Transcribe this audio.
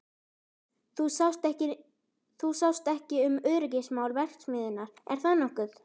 Þú sást ekki um öryggismál verksmiðjunnar, er það nokkuð?